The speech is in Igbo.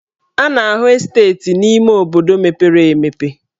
A na-ahụ esteeti n'ime obodo mepere emepe.